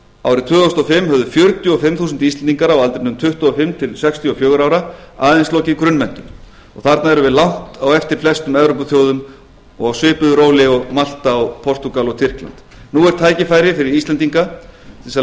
árið tvö þúsund og fimm höfðu fjörutíu og fimm þúsund íslendingar á aldrinum tuttugu og fimm til sextíu ára aðeins lokið grunnmenntun þarna erum við langt á eftir flestum evrópuþjóðum og á svipuðu róli og malta og portúgal og tyrkland nú er tækifæri fyrir íslendinga til þess að